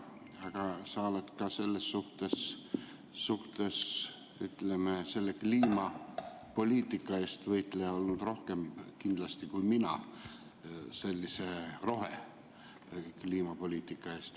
Sa oled ka, ütleme, selle kliimapoliitika, sellise rohekliimapoliitika eest võitleja olnud kindlasti rohkem kui mina.